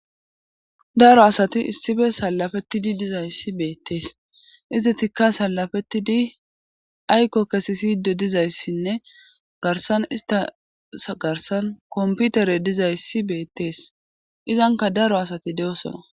Daro asati issibe salafetidi dizayssi beettees izi tikka salafetti di ayko kesi siydo dizayssinne garsan istas garsan komputere dizayssi beettees izanka daro asati de'osona